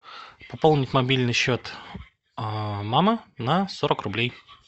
пополнить мобильный счет мамы на сорок рублей